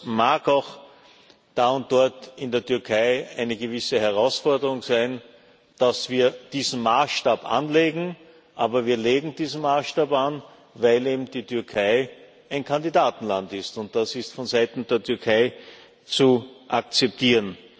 Es mag auch da und dort in der Türkei eine gewisse Herausforderung sein, dass wir diesen Maßstab anlegen, aber wir legen diesen Maßstab an, weil eben die Türkei ein Kandidatenland ist, und das ist von Seiten der Türkei zu akzeptieren.